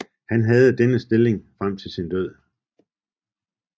Han havde denne stilling frem til sin død